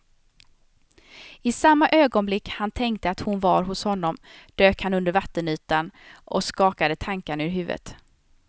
I samma ögonblick han tänkte att hon var hos honom dök han under vattenytan och skakade tankarna ur huvudet.